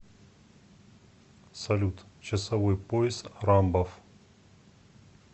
салют часовой пояс рамбов